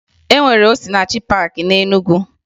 E nwere Osinachi paakị na Enugu